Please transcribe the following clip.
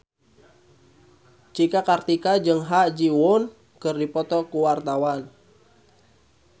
Cika Kartika jeung Ha Ji Won keur dipoto ku wartawan